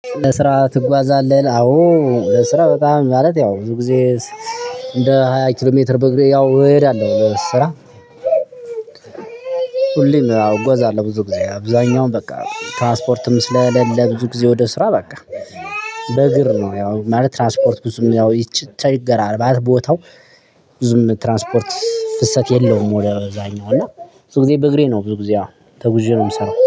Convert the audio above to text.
ለስራ ትጓዛለህ አዎ ለስራ በጣም ማለት ያው ብዙ ግዜ እንደ ሃያ ኪሎ ሜትር በእግሬ ያው እሄዳለሁ ለስራ። ሁሌም እጓዛለሁ ብዙ ግዜ አብዛኛውን በቃ ትራንስፖርትም ስለሌለ ብዙ ግዜ ወደስራ በቃ በእግር ነው። ያው ማለት ትራንስፖርት ብዙም ያው ይቺ ቸገራል ማለት ቦታው። ብዙም ትራንስፖርት ፍሰት የለውም ወደዛኛው እና ብዙ ጊዜ በእግሬ ነው ብዙ ጊዜ አዎ ተጉዤ ነው የምሰራው